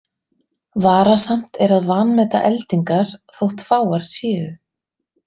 Varasamt er að vanmeta eldingar þótt fáar séu.